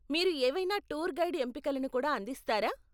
మీరు ఏవైనా tour guide ఎంపికలను కూడా అందిస్తారా ?